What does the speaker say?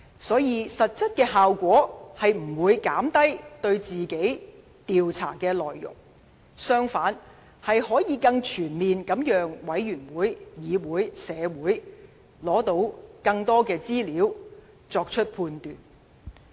所以，實際效果並不是減低對他本身的調查，而是讓專責委員會、議會和社會得到更多資料，更全面地作出判斷。